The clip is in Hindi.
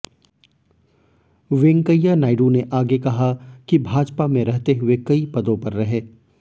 वेंकैया नायडू ने आगे कहा कि भाजपा में रहते हुए कई पदों पर रहे